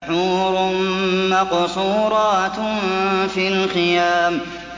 حُورٌ مَّقْصُورَاتٌ فِي الْخِيَامِ